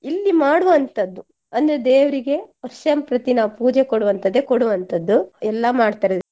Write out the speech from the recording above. ಇಲ್ಲಿ ಮಾಡುವಂತದ್ದು ಅಂದ್ರೆ ದೇವ್ರಿಗೆ ವರ್ಷಂಪ್ರತಿ ನಾವು ಪೂಜೆ ಕೊಡುವಂತದ್ದೆ ಕೊಡುವಂತದ್ದು ಎಲ್ಲ ಮಾಡ್ತಾರೆ.